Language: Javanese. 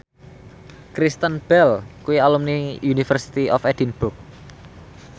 Kristen Bell kuwi alumni University of Edinburgh